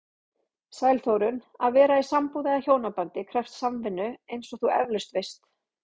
Sæl Þórunn, að vera í sambúð eða hjónabandi krefst samvinnu eins og þú efalaust veist.